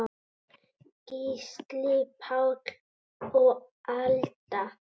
Gísli Páll og Alda.